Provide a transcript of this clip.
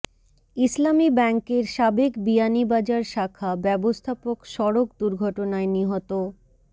ইসলামী ব্যাংকের সাবেক বিয়ানীবাজার শাখা ব্যাবস্থাপক সড়ক দুর্ঘটনায় নিহত